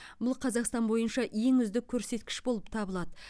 бұл қазақстан бойынша ең үздік көрсеткіш болып табылады